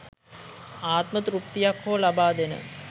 ආත්ම තෘප්තියක් හෝ ලබාදෙන